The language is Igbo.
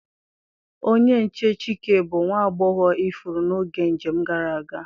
Onye nche Chike bu nwa agbọghọ ifuru n'oge njem gara aga.